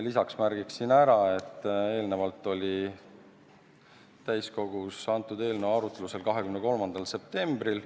Lisaks märgin ära, et eelnevalt oli täiskogus antud eelnõu arutlusel 23. septembril.